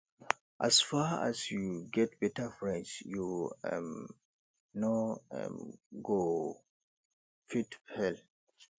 as far as sey you get beta friends you um no um go fit fail